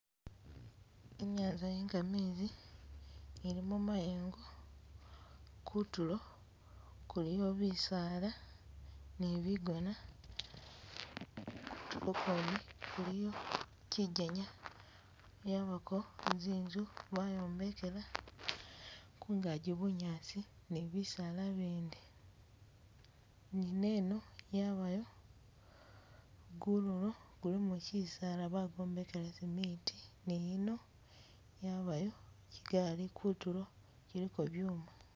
Inyanza ye gamezi elimo mayengo, kutulo kuliyo bisaala ni bigona, kutulo kwene kuliyo kyijenya, yabako zinzu bayombekela kungaji bunyaasi ni bisaala bindi, nineno yabayo gururo gulimo kyisaala bagwombekela cement niyino yabayo kyigali kutulo kyiliko byuma